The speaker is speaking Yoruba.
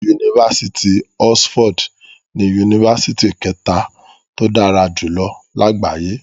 Yunifásitì Oxford ni Yunifásitì kẹta tó dára jùlọ lágbàáyé.